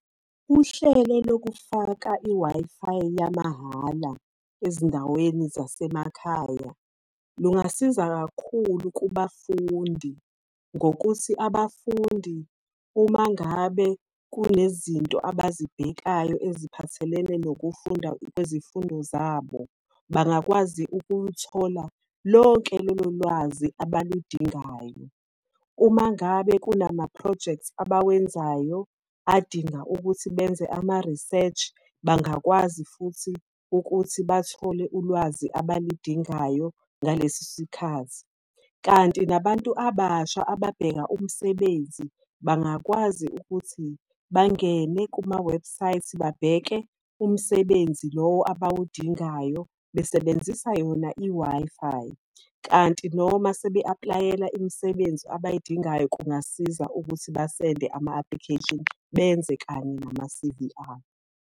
Uhlele lokufaka i-Wi-Fi yamahhala ezindaweni zasemakhaya, lungabasiza kakhulu kubafundi, ngokuthi abafundi uma ngabe kunezinto abazibhekayo eziphathelene nokufunda kwezifundo zabo, bangakwazi ukuluthola lonke lolo lwazi abaludingayo. Uma ngabe kunama-projects abawenzayo, adinga ukuthi benze ama-research, bangakwazi futhi ukuthi bathole ulwazi abalidingayo ngaleso sikhathi. Kanti nabantu abasha ababheka umsebenzi bangakwazi ukuthi bangene kumawebhusayithi babheke umsebenzi lowo abawudingayo besebenzisa yona i-Wi-Fi. Kanti noma sebe apulayela imisebenzi abayidingayo kungasiza ukuthi basende ama-application benze kanye nama-C_V abo.